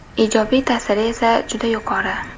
Ijobiy ta’siri esa juda yuqori.